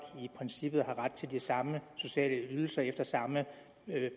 i princippet har ret til de samme sociale ydelser efter samme